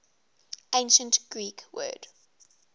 ancient greek word